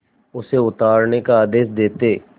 उसे उतारने का आदेश देते